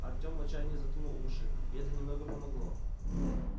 артем в отчаянии заткнул уши и это немного помогло